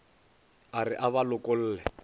a re a ba lokolle